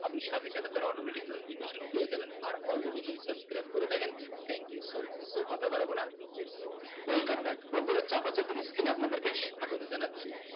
আপনি সাথে সাথে তার automatic notification পেয়ে যাবেন আর already যদি subscribe করে থাকেন thank you zoo much তো কথা বাড়াবো না let's go welcome back বন্দুরা চাপাচাপির skin এ আপাদের কে স্বাগত জানাচ্ছি